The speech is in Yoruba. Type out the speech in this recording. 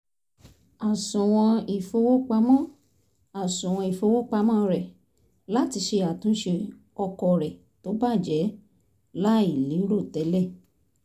àsùwọ̀n ìfowópamọ́ àsùwọ̀n ìfowópamọ́ rẹ̀ láti ṣe àtúnse ọkọ̀ rẹ̀ tó bàjẹ́ láì lérò tẹ́lẹ̀